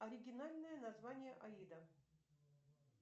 оригинальное название аида